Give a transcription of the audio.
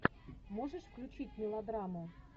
можешь включить мелодраму